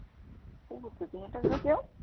ਊਠ ਦੀਆਂ ਟੰਗਾਂ ਕਿਓਂ?